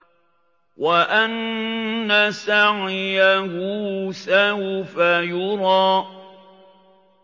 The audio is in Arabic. وَأَنَّ سَعْيَهُ سَوْفَ يُرَىٰ